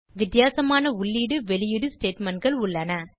வித்தியாசமான உள்ளீடு வெளியீடு statementகள் உள்ளன